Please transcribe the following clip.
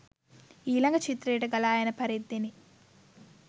ඊළඟ චිත්‍රයට ගලා යන පරිද්දෙනි.